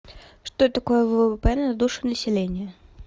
что такое ввп на душу населения